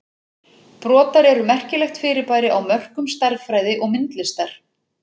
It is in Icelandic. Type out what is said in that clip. Brotar eru merkilegt fyrirbæri á mörkum stærðfræði og myndlistar.